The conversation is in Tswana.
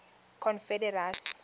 confederacy